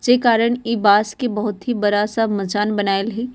जे कारण इ बांस के बहुत ही बड़ा-सा मचान बनइल हइ।